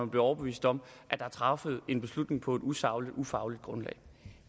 blive overbevist om at der er truffet en beslutning på et usagligt ufagligt grundlag